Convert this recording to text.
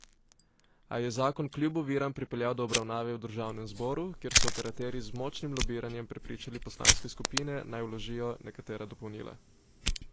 A je zakon kljub oviram pripeljal do obravnave v državnem zboru, kjer so operaterji z močnim lobiranjem prepričali poslanske skupine, naj vložijo nekatera dopolnila.